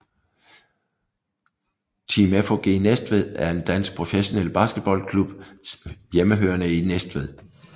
Team FOG Næstved er en dansk professionel basketballklub hjemmehørende i Næstved